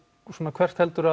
svona hvert heldur